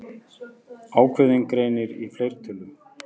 Ákveðinn greinir í fleirtölu.